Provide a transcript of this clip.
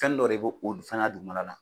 Fɛn dɔ de b'o o fana dugumana la